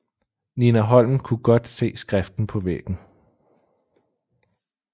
Nina Holm kunne godt se skriften på væggen